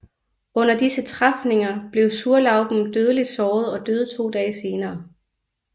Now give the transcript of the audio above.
Under disse træfninger blev Zurlauben dødeligt såret og døde to dage senere